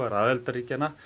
aðildarríkjanna